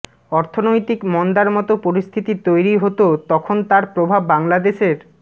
অর্থনৈতিক মন্দার মতো পরিস্থিতি তৈরি হতো তখন তার প্রভাব বাংলাদেশের